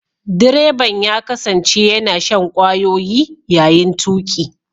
Direban ya kasance yana shan kwayoyi yayin tuki.